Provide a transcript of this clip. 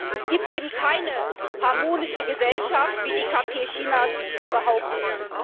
Es gibt eben keine harmonische Gesellschaft, wie die KP Chinas behauptet.